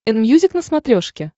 энмьюзик на смотрешке